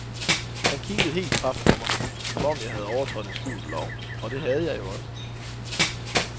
Han kiggede helt paf på mig, som om jeg havde overtrådt en skjult lov, og det havde jeg jo også.